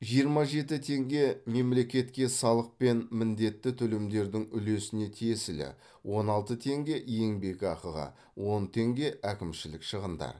жиырма жеті теңге мемлекетке салық пен міндетті төлемдердің үлесіне тиесілі он алты теңге еңбекақыға он теңге әкімшілік шығындар